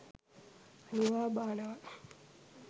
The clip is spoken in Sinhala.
අනිවා බානවා